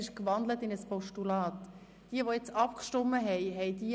Deshalb frage ich diejenigen, die soeben abgestimmt haben: